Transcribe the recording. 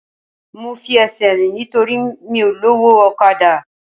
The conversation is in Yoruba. Mo fi ẹsẹ̀ rìn nítorí mi ò lówó ọ̀kadà